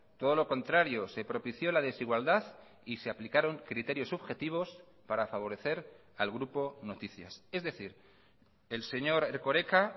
todo lo contrario se propició la desigualdad y se aplicaron criterios subjetivos para favorecer al grupo noticias es decir el señor erkoreka